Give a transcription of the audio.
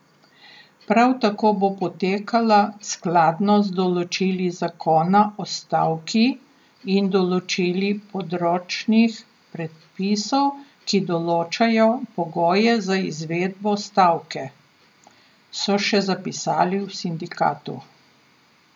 Prav tako bo potekala skladno z določili Zakona o stavki in določili področnih predpisov, ki določajo pogoje za izvedbo stavke, so še zapisali v sindikatu.